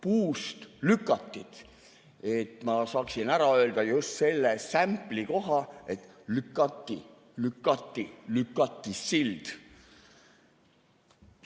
et ma saaksin ära öelda just selle sämpli koha: lükati, lükati, lükati sild.